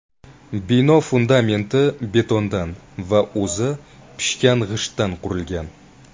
Bino fundamenti betondan va o‘zi pishgan g‘ishtdan qurilgan.